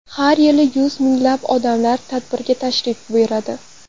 Har yili yuz minglab odamlar tadbirga tashrif buyuradi.